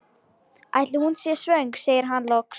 Ætli hún sé svöng? segir hann loks.